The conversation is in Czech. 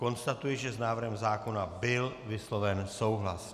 Konstatuji, že s návrhem zákona byl vysloven souhlas.